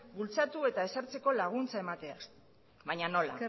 bultzatu eta ezartzeko laguntza emateaz baina nola